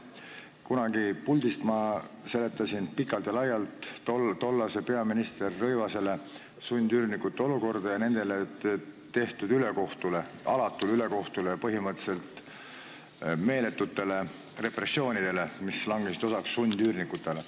Kunagi ma seletasin siit puldist pikalt ja laialt peaminister Rõivasele sundüürnike olukorda ja viitasin nendele tehtud ülekohtule, alatule ülekohtule, põhimõtteliselt meeletutele repressioonidele, mis langesid osaks sundüürnikele.